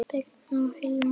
Birna og Hilmar.